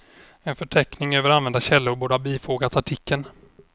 En förteckning över använda källor borde ha bifogats artikeln.